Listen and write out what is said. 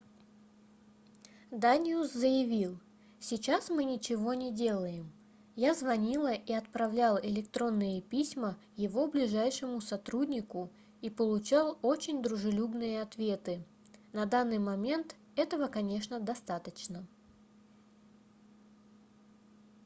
даниус заявил сейчас мы ничего не делаем я звонил и отправлял электронные письма его ближайшему сотруднику и получал очень дружелюбные ответы на данный момент этого конечно достаточно